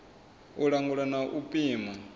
u langula na u pima